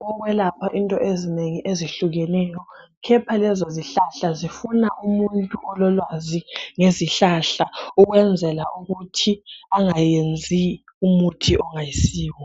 wokwelapha izinto ezinengi ezehlukeneyo khepha lezozihlahla zifuna umuntu ololwazi ngezihlahla ukwenzela ukuthi angayenzi umuthi ongayenziyo.